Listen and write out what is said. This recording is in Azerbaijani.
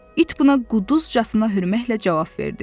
İt buna quduzcasına hürməklə cavab verdi.